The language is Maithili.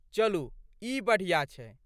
चलू ई बढ़िया छै।